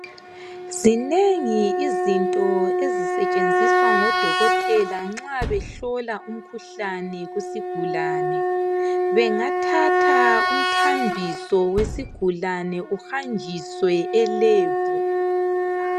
Zinengi izinto ezisetshenziswa ngodokotela nxa behlola umkhuhlane kusigulane bengathatha umthambiso wesigulane behambise elebhu.